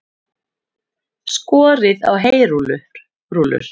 Skorið á heyrúllur